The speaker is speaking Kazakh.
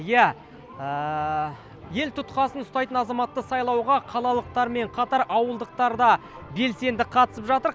иә ел тұтқасын ұстайтын азаматты сайлауға қалалықтармен қатар ауылдықтар да белсенді қатысып жатыр